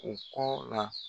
U kɔ la.